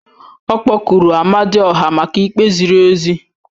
Ọ kpọkuru Amadioha maka ikpe ziri ezi